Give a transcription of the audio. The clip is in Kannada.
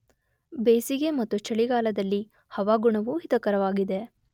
ಬೆಸಿಗೆ ಮತ್ತು ಚಳಿಗಾಲದಲ್ಲಿ ಹವಾಗುಣವು ಹಿತಕರವಾಗಿದೆ